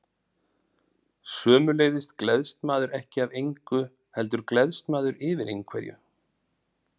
Sömuleiðis gleðst maður ekki af engu, heldur gleðst maður yfir einhverju.